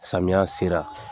Samiya sera